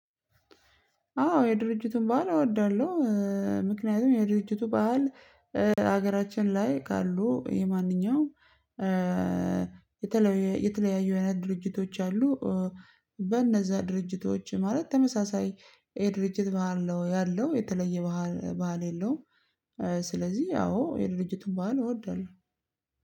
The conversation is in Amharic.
አዎ የድርጅቱን ባህል እወዳለሁ። ምክንያቱም የድርጅቱ ባህል ሀገራችን ላይ ካሉ የማንኛውም የተለያዩ አይነት ድርጅቶች አሉ። በእነዛ ድርጅቶች ማለት ተመሳሳይ የድርጅት ባህል ነው ያለው የተለየ ባህል የለውም። ስለዚህ ያው የድርጅቱን ባህል እወዳለሁ።